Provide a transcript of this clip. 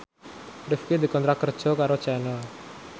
Rifqi dikontrak kerja karo Channel